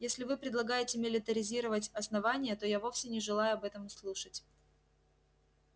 если вы предлагаете милитаризировать основание то я вовсе не желаю об этом слушать